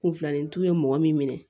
Kunfilanintu ye mɔgɔ min minɛ